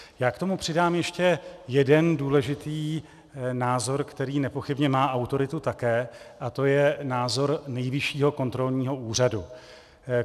Já k tomu přidám ještě jeden důležitý názor, který nepochybně má autoritu také, a to je názor Nejvyššího kontrolního úřadu.